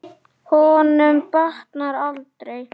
Honum batnar aldrei.